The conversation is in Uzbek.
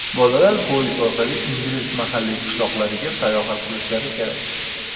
Bolalar poyezd orqali ingliz mahalliy qishloqlariga sayohat qilishlari kerak.